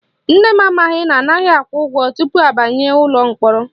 Nne m amaghị na anaghị akwụ ụgwọ tupu abanye ụlọ mkpọrọ